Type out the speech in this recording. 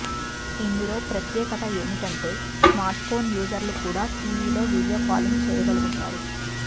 ఇందులో ప్రత్యేకత ఏమిటంటే స్మార్ట్ఫోన్ యూజర్లు కూడా టీవీలో వీడియో కాలింగ్ చేయగలుగుతారు